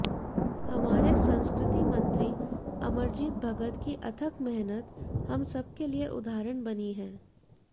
हमारे संस्कृति मंत्री अमरजीत भगत की अथक मेहनत हम सबके लिए उदाहरण बनी है